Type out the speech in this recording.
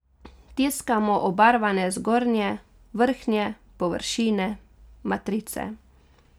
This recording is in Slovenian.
Tiskamo obarvane zgornje, vrhnje površine matrice.